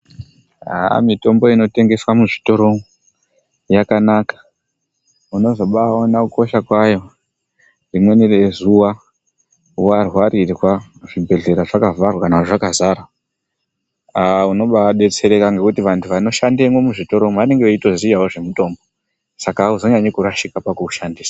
Mitombo inotengeswe muzvitoro yakanaka. Unozobaaona kukosha kwayo rimweni rezuwa warwarirwa zvibhedhlera zvakavharwa kana kuti zvakazara. Unobaadetsereka ngekuti vanhu vanoshandemwo muzvitoro vanotoziyawo zvemitombo. Saka auzonyanyi kurashika pakuushandisa.